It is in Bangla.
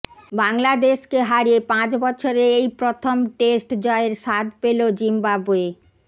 বাংলাদেশকে হারিয়ে পাঁচ বছরে এই প্রথম টেস্ট জয়ের স্বাদ পেল জিম্বাবোয়ে